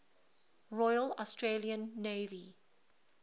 royal australian navy